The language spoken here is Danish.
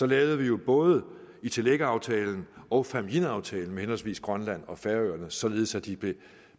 lavede både ittilek aftalen og fámjin aftalen med henholdsvis grønland og færøerne således at de blev